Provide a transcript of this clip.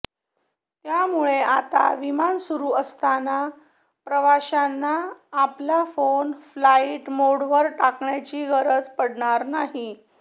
त्यामुळे आता विमान सुरु असताना प्रवाशांना आपला फोन फ्लाईट मोडवर टाकण्याची गरज पडणार नाही